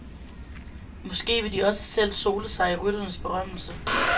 Måske vil de også selv sole sig i rytternes berømmelse.